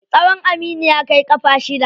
Tsawon Aminu ya kai ƙafa shida.